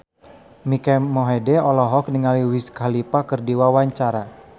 Mike Mohede olohok ningali Wiz Khalifa keur diwawancara